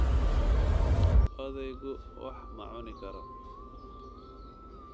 Odaygu wax ma cuni karo